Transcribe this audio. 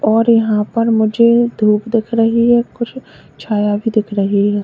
और यहां पर मुझे धूप दिख रही है कुछ छाया भी दिख रही है।